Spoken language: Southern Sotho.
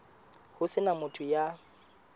ho se na motho ya